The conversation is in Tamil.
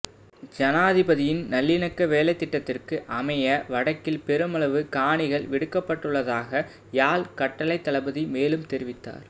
ஜனாதிபதியின் நல்லிணக்க வேலைத்திட்டத்திற்கு அமைய வடக்கில் பெருமளவு காணிகள் விடுவிக்கப்பட்டுள்ளதாக யாழ் கட்டளைத் தளபதி மேலும் தெரிவித்தார்